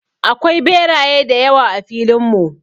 Akwai beraye da yawa a filin mu.